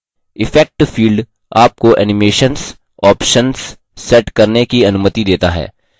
effect field आपको animations options set करने की अनुमति set है